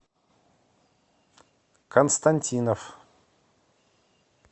константинов